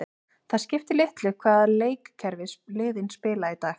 Það skiptir litlu hvaða leikkerfi liðin spila í dag.